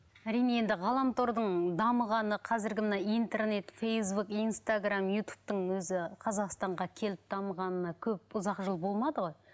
әрине енді ғаламтордың дамығаны қазіргі мына интернет фейсбук инстаграмм ютубтың өзі қазақстанға келіп дамығанына көп ұзақ жыл болмады ғой